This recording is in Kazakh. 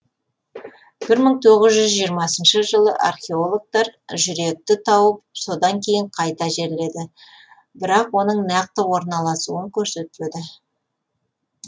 бір мың тоғыз жүз жиырмасыншы жылы археологтар жүректі тауып содан кейін қайта жерледі бірақ оның нақты орналасуын көрсетпеді